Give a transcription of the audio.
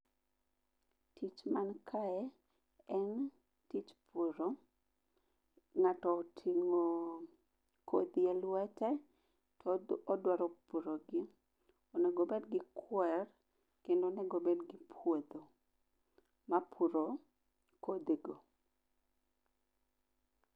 Tich mankae en tich puro. Ng'ato oting'o kodhi e lwete to odwaro purogi, onego obedgi kwer kendo onegobedgi puodho mapuro kodhigo.